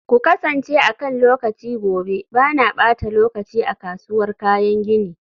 ku kasance akan lokaci gobe, ba na ɓata lokaci a kasuwar kayan gini.